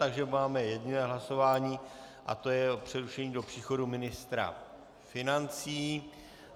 Takže máme jediné hlasování a to je o přerušení do příchodu ministra financí.